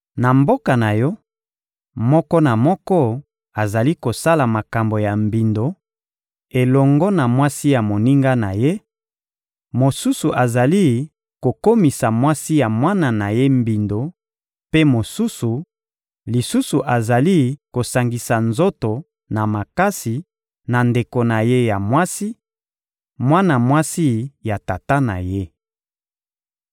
Na mboka na yo, moko na moko azali kosala makambo ya mbindo elongo na mwasi ya moninga na ye, mosusu azali kokomisa mwasi ya mwana na ye mbindo, mpe mosusu lisusu azali kosangisa nzoto na makasi na ndeko na ye ya mwasi, mwana mwasi ya tata na ye.